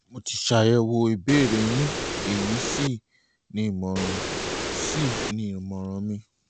mo ti ṣàyẹ̀wò ìbéèrè yín èyí sì ni ìmọ̀ràn sì ni ìmọ̀ràn mi